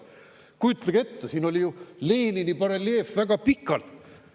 Kujutage ette, siin oli ju Lenini bareljeef väga pikalt.